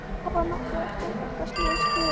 Þetta var nokkru eftir að þetta slys skeði.